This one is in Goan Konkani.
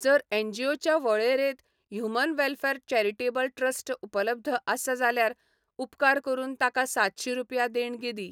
जर एनजीओच्या वळेरेंत ह्यूमन वॅलफॅर चॅरिटेबल ट्रस्ट उपलब्ध आसा जाल्यार उपकार करून ताका सातशीं रुपया देणगी दी.